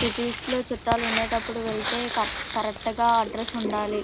Cities లో చుట్టాలు ఉండేటప్పుడు వెళ్తే కట్ కరెక్టు గా అడ్రెస్ ఉండాలి.